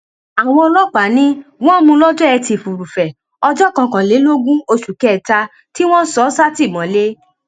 àwọn ọlọpàá ni wọn múun lọjọ etí furuufee ọjọ kọkànlélógún oṣù kẹta tí wọn sọ ọ sátìmọlé